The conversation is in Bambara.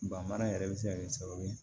Ban mara yɛrɛ bɛ se ka kɛ sababu ye